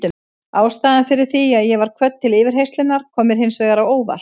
Ástæðan fyrir því að ég var kvödd til yfirheyrslunnar kom mér hins vegar á óvart.